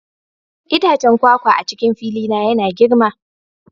Itacen kwakwa a cikin fili na yana girma